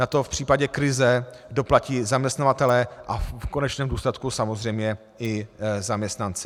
Na to v případě krize doplatí zaměstnavatelé a v konečném důsledku samozřejmě i zaměstnanci.